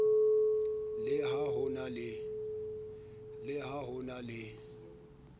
le ha ho na le